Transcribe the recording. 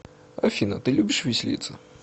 афина ты любишь веселиться